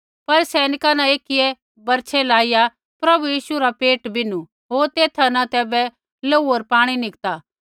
पर सैनिका न एकियै बरछै लाइया प्रभु यीशु रा पेट बिन्नू होर तेथा न तैबै लोहू होर पाणी निकतु